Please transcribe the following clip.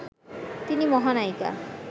তিনি মহানায়িকা